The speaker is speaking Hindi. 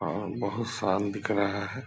और बहुत साल दिख रहा है।